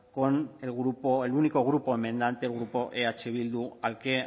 con el grupo el único grupo enmendante el grupo eh bildu al que